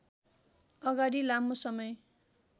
अगाडि लामो समय